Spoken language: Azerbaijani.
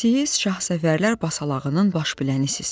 Siz şahsevərlər basalağının başbilənisiz.